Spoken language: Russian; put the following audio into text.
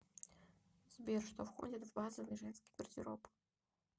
сбер что входит в базовый женский гардероб